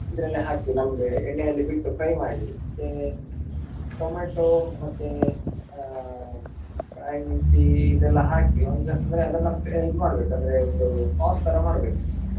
ಇದ್ರಲ್ಲಿ ಹಾಕಿ ನಮ್ಗೆ ಎಣ್ಣೆಯಲ್ಲಿ ಬಿಟ್ಟು fry ಮಾಡಿ ಮತ್ತೆ ಟೊಮೆಟೊ ಮತ್ತೆ ಅಹ್ ಕಾಯಿಮುಂಚಿ ಇದೆಲ್ಲಾ ಹಾಕಿ ಒಂದು ಅಂದ್ರೆ ಅದನ್ನ ಇದ್ ಮಾಡ್ಬೇಕು ಅಂದ್ರೆ ಒಂದು sauce ತರ ಮಾಡ್ಬೇಕು.